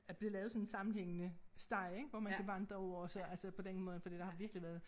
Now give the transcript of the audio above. At blevet lavet sådan en sammenhængende sti ik hvor man kan vandre over og så altså på den måde ik for der har virkelig været